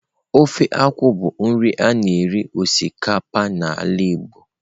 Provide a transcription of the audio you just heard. Ofe akwu bụ nri a na-eri osikapa n'ala Igbo.